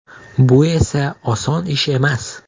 Bu esa oson ish emas.